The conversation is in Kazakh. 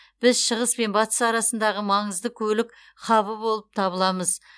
біз шығыс пен батыс арасындағы маңызды көлік хабы болып табыламыз